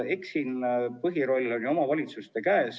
Eks siin on põhiroll ju omavalitsuste käes.